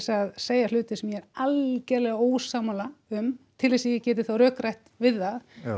að segja hluti sem ég er algjörlega ósammála um til þess að ég geti þá rökrætt við það